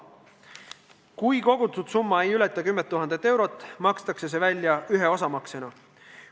Kui kogutud summa ei ületa 10 000 eurot, makstakse see välja ühe maksena.